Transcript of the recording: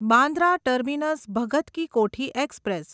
Bandra terminus Bhagat ki Kothi express